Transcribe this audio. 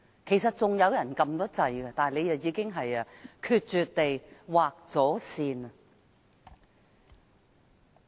其實，還有議員已按鈕要求發言，但他卻決絕地劃線。